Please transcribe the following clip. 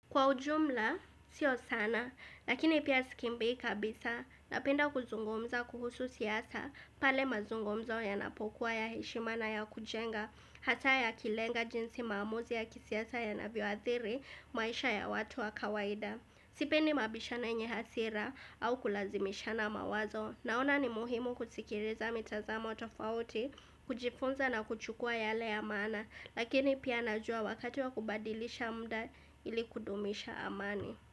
Kwa ujumla, sio sana, lakini pia sikimbii kabisa, napenda kuzungumza kuhusu siasa, pale mazungumzo yanapokuwa ya heshima na ya kujenga, hata ya kilenga jinsi maamuzi ya kisiasa yanavyoathiri, maisha ya watu wa kawaida. Sipendi mabishano yenye hasira au kulazimishana mawazo. Naona ni muhimu kusikiriza mitazamo tofauti, kujifunza na kuchukua yale ya maana. Lakini pia najua wakati wa kubadilisha mda ili kudumisha amani.